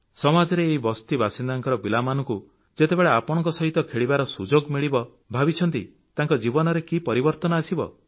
ସମାଜରେ ଏହି ବସ୍ତିବାସିନ୍ଦାଙ୍କ ପିଲାମାନଙ୍କୁ ଯେତେବେଳେ ଆପଣଙ୍କ ସହିତ ଖେଳିବାର ସୁଯୋଗ ମିଳିବ ଭାବିଛନ୍ତି ତାଙ୍କ ଜୀବନରେ କି ପରିବର୍ତନ ଆସିବ